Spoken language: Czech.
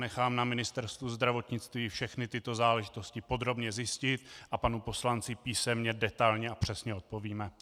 Nechám na Ministerstvu zdravotnictví všechny tyto záležitosti podrobně zjistit a panu poslanci písemně detailně a přesně odpovíme.